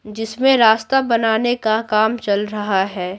जिसमें रास्ता बनाने का काम चल रहा है।